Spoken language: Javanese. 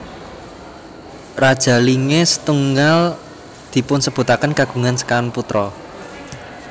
Raja Linge setunggal dipunsebutaken kagungan sekawan putra